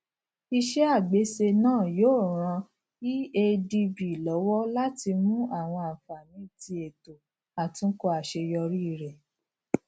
ise agbese naa yoo ran eadb lọwọ lati mu awọn anfani ti eto atunkọ aṣeyọri rẹ